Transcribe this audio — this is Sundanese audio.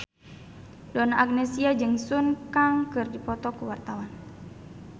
Donna Agnesia jeung Sun Kang keur dipoto ku wartawan